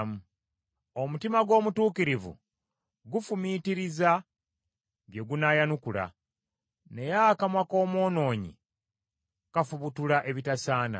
Omutima gw’omutuukirivu gufumiitiriza bye gunaayanukula, naye akamwa k’omwonoonyi kafubutula ebitasaana.